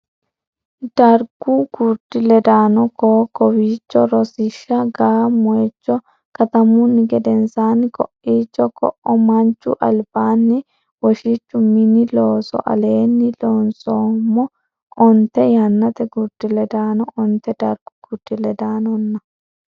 Dargu gurdi ledaano ko o kowiicho Rosiishsha ga a moychu katamunni gedensaanni ko iicho koo o manchu albaanni woshichchu Mini Looso Aleenni loonsummo onte yannate gurdi ledaano onte dargu gurdi ledaanonna.